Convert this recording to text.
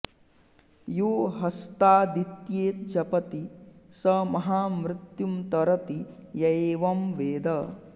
यो हस्तादित्ये जपति स महामृत्युं तरति य एवं वेद